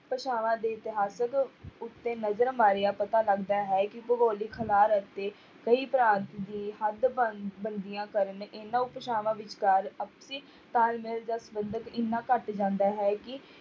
ਭਾਸ਼ਾਵਾਂ ਦੇ ਇਤਿਹਾਸਕ ਉੱਤੇ ਨਜ਼ਰ ਮਾਰਿਆ ਪਤਾ ਲੱਗਦਾ ਹੈ, ਕਿ ਭੂਗੋਲਿਕ ਅਤੇ ਕਈ ਤਰ੍ਹਾਂ ਦੀ ਹੱਦ ਵੰਨ~ ਕਰਨ ਇਹਨਾਂ ਭਾਸ਼ਾਵਾਂ ਵਿਚਕਾਰ ਅਤੇ ਤਾਲਮੇਲ ਜਾਂ ਸੰਬੰਧ ਇੰਨਾ ਘੱਟ ਜਾਂਦਾ ਹੈ ਕਿ